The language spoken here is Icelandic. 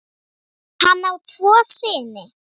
Hann á tvo syni.